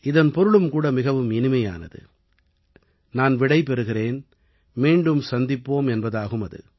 இதன் பொருளும் கூட மிகவும் இனிமையானது நான் விடை பெறுகிறேன் மீண்டும் சந்திப்போம் என்பதாகும் அது